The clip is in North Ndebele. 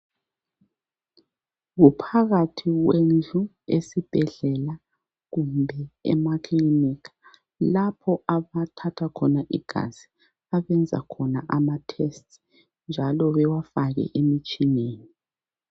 Kuphakathi kwendlu esibhedlela kumbe emaklinika lapho abathatha khona igazi abenza khona amatests njalo bewafake emitshineni.